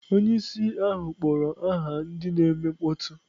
Onye isi ahụ kpọrọ aha ndị na-eme mkpọtụ.